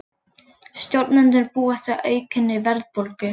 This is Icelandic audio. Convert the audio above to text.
Stjórnendur búast við aukinni verðbólgu